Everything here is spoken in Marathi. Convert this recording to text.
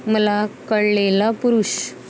मला कळलेला पुरूष.